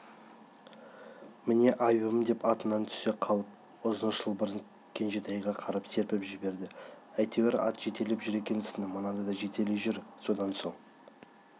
міне айыбым деп атынан түсе қалып ұзын шылбырын кенжетайға қарай серпіп жіберді әйтеуір ат жетелеп жүр екенсің мынаны да жетелей жүр содан соң